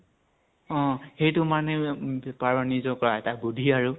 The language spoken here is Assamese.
অ । সেইতো মানে উম নিজৰ পৰা, বুদ্ধি আৰু